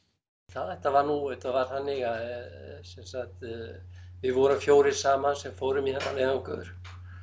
þetta var nú þetta var þannig að sem sagt við vorum fjórir saman sem fórum í þennan leiðangur